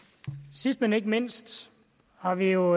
sidst men ikke mindst har vi jo